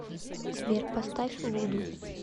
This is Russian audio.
сбер поставь вуду